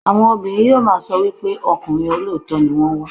Àwọn obìnrin yóò máa sọ wípé ọkùnrin olóòótọ́ ni wón ń wá.